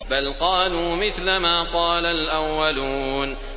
بَلْ قَالُوا مِثْلَ مَا قَالَ الْأَوَّلُونَ